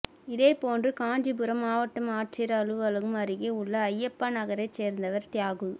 இதேபோன்று காஞ்சிபுரம் மாவட்ட ஆட்சியர் அலுவலகம் அருகே உள்ள ஐயப்பா நகரைச் சேர்ந்தவர் தியாகு